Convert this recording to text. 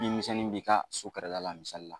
Bin misɛnni b'i ka sun kɛrɛda la misali la.